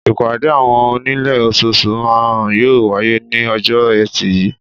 Ìpàdé àwọn onílé ososù náà yóò wáyé ní ojó ẹtì yìí